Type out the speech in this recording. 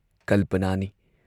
ꯀꯜꯄꯅꯥꯅꯤ ꯫